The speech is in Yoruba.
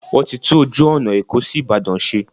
Wọ́n ti tún ojú ọ̀nà Èkó sí Ìbàdàn ṣe.